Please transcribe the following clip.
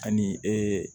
Ani